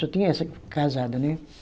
Só tinha essa casada, né?